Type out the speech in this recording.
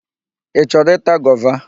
Ị chọrọ ịta gova?